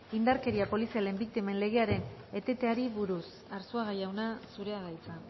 indarkeria polizialen biktimen legearen eteteari buruz arzuaga jauna zurea da hitza